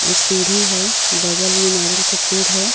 और सीडी है बगल मे नारियल का पेड़ है.